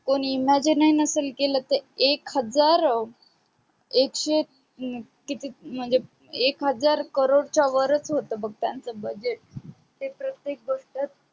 कोणी imagine नसेल केल त एक हजार एकशे किती म्हणजे एक हजार crore च्या वरच होत बग त्यांच budget ते प्रतेक गोष्ट